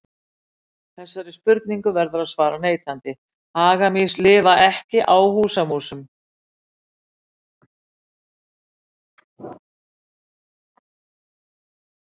Þessari spurningu verður að svara neitandi, hagamýs lifa ekki á húsamúsum.